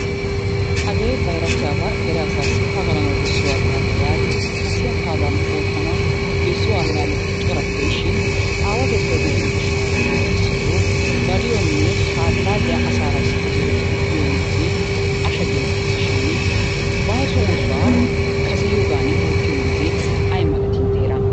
Hagee bayratiyaba, dere asaassi pagalanawu bessiya allaalle yaagidi kasiya kaaluwan oottanawu bessiyo allaalleti corati de'ishin aawatettay de'iyo gishshaawati issi issitoo baliyonne ha allaalliya asaara issippe zorettidi biyo meezee asha geetteesi shiini baaso oosuwa kaseyiyogaani oottiyo meezee ay malatii intte heeran?